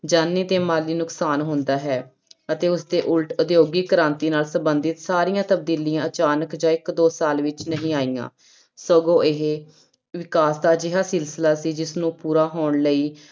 ਜਾਨੀ ਤੇ ਮਾਲੀ ਨੁਕਸਾਨ ਹੁੰਦਾ ਹੈ ਅਤੇ ਉਸਦੇ ਉਲਟ ਉਦਯੋਗਿਕ ਕ੍ਰਾਂਤੀ ਨਾਲ ਸੰਬੰਧਤ ਸਾਰੀਆਂ ਤਬਦੀਲੀਆਂ ਅਚਾਨਕ ਜਾਂ ਇੱਕ ਦੋ ਸਾਲ ਵਿੱਚ ਨਹੀਂ ਆਈਆਂ, ਸਗੋਂ ਇਹ ਵਿਕਾਸ ਦਾ ਅਜਿਹਾ ਸਿਲਸਿਲਾ ਸੀ ਜਿਸਨੂੰ ਪੂਰਾ ਹੋਣ ਲਈ